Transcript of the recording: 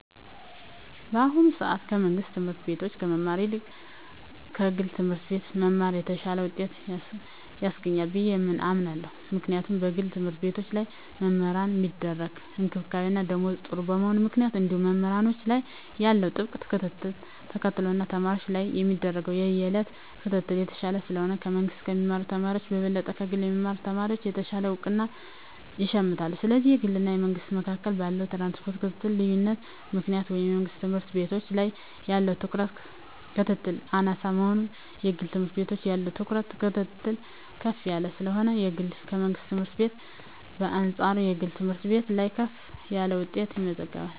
በአሁኑ ሰአት ከመንግስት ትምህርት ቤት ከመማር ይልቅ ከግለሰብ ትምህርት ቤት መማር የተሻለ ውጤት ያስገኛል ብየ አምናለው ምክንያቱም በግል ተምህርትቤቶች ላይ ለመምህራን ሚደረግ እንክብካቤና ደሞዝ ጥሩ በመሆኑ ምክንያት እንዲሁም መምህራን ላይ ያለው ጥብቅ ክትትልን ተከትሎ እና ተማሪወች ላይም የሚደረግ የየእለት ክትትል የተሻለ ስለሆነ ከመንግስ ከሚማሩ ተማሪወች በበለጠ ከግል የሚማሩ ተማሪወች የተሻለ እውቀት ይሸምታሉ ስለዚህ በግልና በመንግስ መካከል ባለው የትኩረትና የክትትል ልዮነት ምክንያት ወይም የመንግስት ትምህርት ቤት ላይ ያለው ትኩረትና ክትትል አናሳ በመሆኑና የግል ትምህርት ቤት ያለው ትኩረትና ክትትል ከፍ ያለ ስለሆነ ከግልና ከመንግስት ትምህርት ቤት በአንጻሩ የግል ትምህርት ቤት ላይ ከፍ ያለ ውጤት ይመዘገባል።